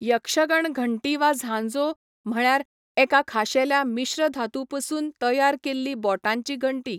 यक्षगण घंटी वा झांजो, म्हळ्यार एका खाशेल्या मिश्रधातूपसून तयार केल्ली बोटांची घंटी.